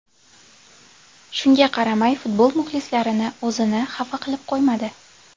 Shunga qaramay futbol muxlislarini o‘zini xafa qilib qo‘ymadi.